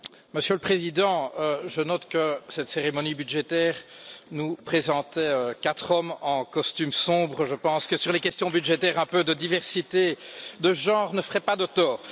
Monsieur le Président, je note que cette cérémonie budgétaire nous présentait quatre hommes en costume sombre, je pense que sur les questions budgétaires, un peu de diversité de genre ne ferait pas de tort.